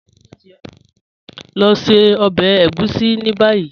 Lọ ṣẹ ọbẹ ègúsì ni bayi.